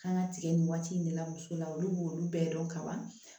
Kan ka tigɛ nin waati in de la muso la olu b'olu bɛɛ dɔn ka ban